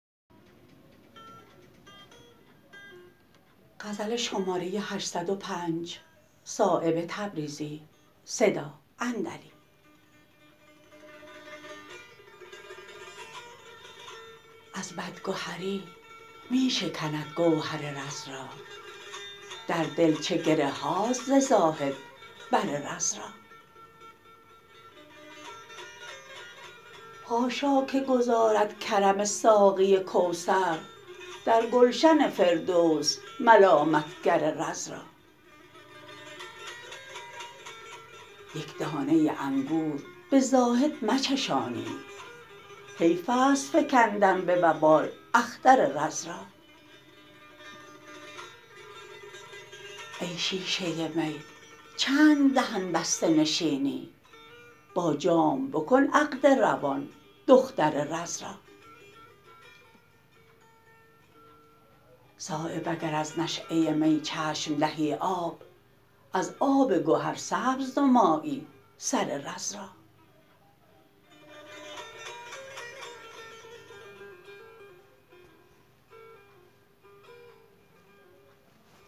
از بدگهری می شکند گوهر رز را در دل چه گره هاست ز زاهد بر رز را حاشا که گذارد کرم ساقی کوثر در گلشن فردوس ملامتگر رز را یک دانه انگور به زاهد مچشانید حیف است فکندن به وبال اختر رز را ای شیشه می چند دهن بسته نشینی با جام بکن عقد روان دختر رز را صایب اگر از نشأه می چشم دهی آب از آب گهر سبز نمایی سر رز را